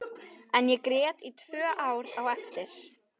En ég grét í tvö ár á eftir.